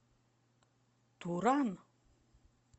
туран